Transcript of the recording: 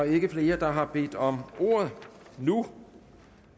ikke flere der har bedt om ordet nu